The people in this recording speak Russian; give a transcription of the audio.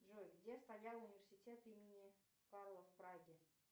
джой где стоял университет имени карла в праге